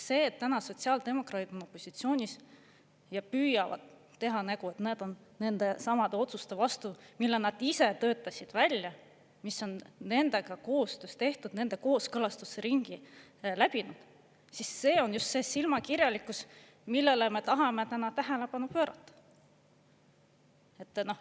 See, et täna sotsiaaldemokraadid on opositsioonis ja püüavad teha nägu, et nad on nendesamade otsuste vastu, mille nad ise välja töötasid, mis on nendega koostöös tehtud, nende kooskõlastusringi läbinud, on just see silmakirjalikkus, millele me tahame täna tähelepanu pöörata.